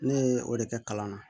Ne ye o de kɛ kalan na